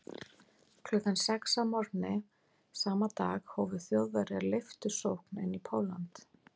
Klukkan sex að morgni sama dag hófu Þjóðverjar leiftursókn inn í Pólland.